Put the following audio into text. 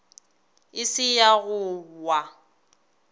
e se ya go wa